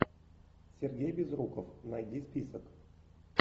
сергей безруков найди список